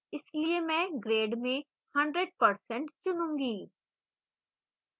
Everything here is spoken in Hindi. इसलिए मैं grade में 100% चुनूंगी